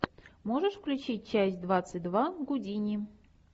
можешь включить часть двадцать два гудини